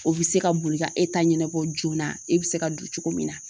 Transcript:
O be se ka boli ka e ta ɲɛnabɔ joona e be se ka don cogo min na